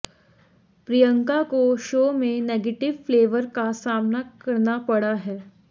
प्रियांक को शो में negative flavour का सामना करना पड़ा है